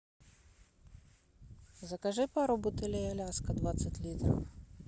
закажи пару бутылей аляска двадцать литров